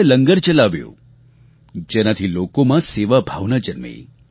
તેમણે લંગર ચલાવ્યું જેનાથી લોકોમાં સેવાભાવના જન્મી